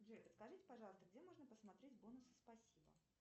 джой подскажите пожалуйста где можно посмотреть бонусы спасибо